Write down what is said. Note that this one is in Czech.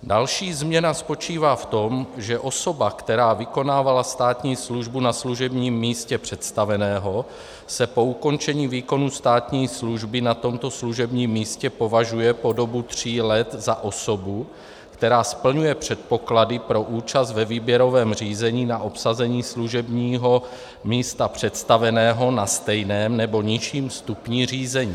Další změna spočívá v tom, že osoba, která vykonávala státní službu na služebním místě představeného, se po ukončení výkonu státní služby na tomto služebním místě považuje po dobu tří let za osobu, která splňuje předpoklady pro účast ve výběrovém řízení na obsazení služebního místa představeného na stejném nebo nižším stupni řízení.